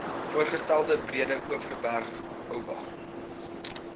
voorgestelde breedeoverberg oba